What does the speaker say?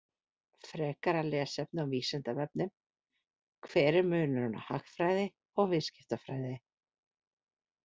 Frekara lesefni á Vísindavefnum: Hver er munurinn á hagfræði og viðskiptafræði?